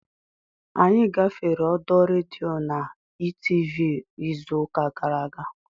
Anyị gafere ọdọ redio ndị Etv izu ụka gara aga